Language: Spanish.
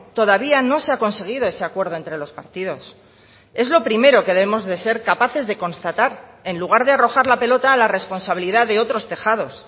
todavía no se ha conseguido ese acuerdo entre los partidos es lo primero que debemos de ser capaces de constatar en lugar de arrojar la pelota a la responsabilidad de otros tejados